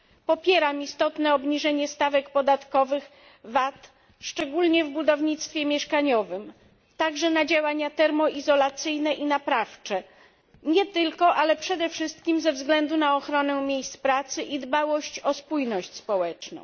Popieram istotne obniżenie stawek podatkowych VAT, szczególnie w budownictwie mieszkaniowym, także na działania termoizolacyjne i naprawcze nie tylko ale przede wszystkim ze względu na ochronę miejsc pracy i dbałość o spójność społeczną.